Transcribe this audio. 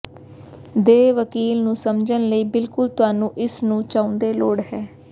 ਦੇ ਵਕੀਲ ਨੂੰ ਸਮਝਣ ਲਈ ਬਿਲਕੁਲ ਤੁਹਾਨੂੰ ਇਸ ਨੂੰ ਚਾਹੁੰਦੇ ਲੋੜ ਹੈ